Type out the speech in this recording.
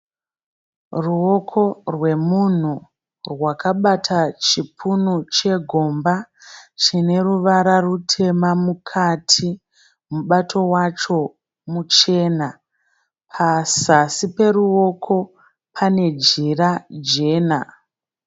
Ruwoko rwemunhu rwakabata chipunu chegomba chine ruvara rutema mukati. Mubato wacho muchena. Pazasi peruwoko pane jira jena.